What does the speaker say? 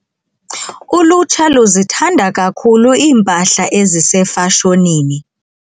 Ulutsha luzithanda kakhulu iimpahla ezisefashonini.